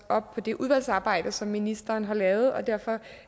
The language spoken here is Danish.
op på det udvalgsarbejde som ministeren har lavet derfor